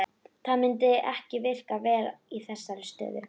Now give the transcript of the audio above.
Annars er bergið fölgrænt af klóríti og epídóti.